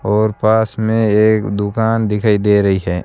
और पास मे एक दुकान दिखाई दे रही है।